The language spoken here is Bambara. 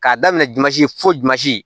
K'a daminɛ jusi fojazi